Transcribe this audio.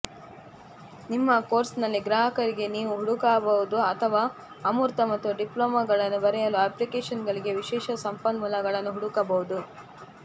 ನಿಮ್ಮ ಕೋರ್ಸ್ನಲ್ಲಿ ಗ್ರಾಹಕರಿಗೆ ನೀವು ಹುಡುಕಬಹುದು ಅಥವಾ ಅಮೂರ್ತ ಮತ್ತು ಡಿಪ್ಲೊಮಾಗಳನ್ನು ಬರೆಯಲು ಅಪ್ಲಿಕೇಶನ್ಗಳಿಗೆ ವಿಶೇಷ ಸಂಪನ್ಮೂಲಗಳನ್ನು ಹುಡುಕಬಹುದು